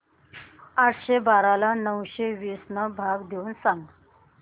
आठशे बारा ला नऊशे वीस ने भाग देऊन सांग